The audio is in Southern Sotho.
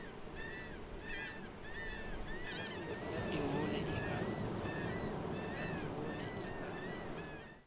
ya sengo le e ka